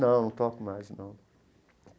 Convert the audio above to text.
Não, não toco mais, não.